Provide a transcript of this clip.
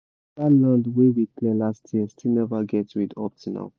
that land wey we clear last year still never get weed up till now